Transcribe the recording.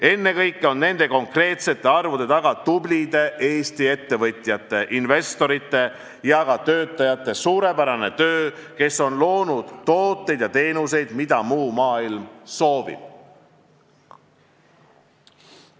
Ennekõike on nende konkreetsete arvude taga tublide Eesti ettevõtjate, investorite ja ka töötajate suurepärane töö, kes on loonud tooteid ja teenuseid, mida muu maailm soovib.